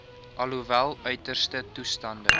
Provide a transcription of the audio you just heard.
alhoewel uiterste toestande